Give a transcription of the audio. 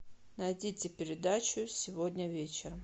найдите передачу сегодня вечером